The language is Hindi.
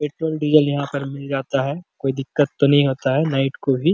एक पॉइंट डीजल यहाँ पर मिल जाता है कोई दिकत तो नहीं होता है नाईट को भी --